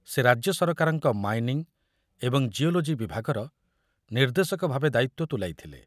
ସେ ରାଜ୍ୟ ସରକାରଙ୍କ ମାଇନିଂ ଏବଂ ଜିଓଲୋଜି ବିଭାଗର ନିର୍ଦ୍ଦେଶକଭାବେ ଦାୟିତ୍ୱ ତୁଲାଇଥିଲେ।